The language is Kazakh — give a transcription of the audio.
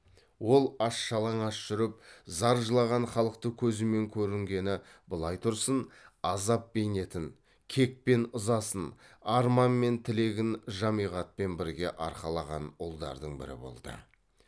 ол аш жалаңаш жүріп зар жылаған халықты көзімен көрінгені былай тұрсын азап бейнетін кек пен ызасын арман мен тілегін жамиғатпен бірге арқалаған ұлдардың бірі болды